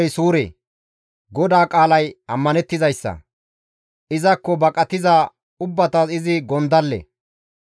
Xoossa ogey suure; GODAA qaalay ammanettizayssa; Izakko baqatiza ubbatas izi gondalle.